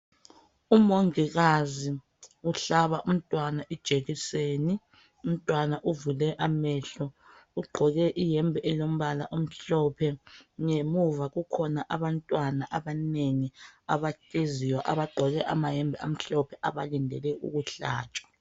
Umongikazi ohlaba umntwana ijekiseni, umntwana uvule amehlo ugqoke ihembe elombala omhlophe ngemuva kukhona abantwana abanengi abahleziyo abagqoke amahembe amhlophe abalindele ukuhlatshwa.